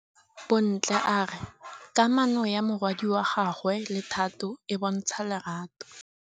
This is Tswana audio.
Bontle a re kamanô ya morwadi wa gagwe le Thato e bontsha lerato.